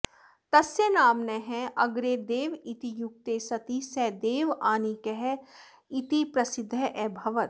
तस्य नाम्नः अग्रे देव इति युक्ते सति सः देवानीकः इति प्रसिद्धः अभवत्